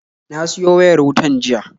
Na siyo wayar wutan jiya